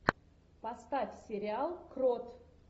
поставь сериал крот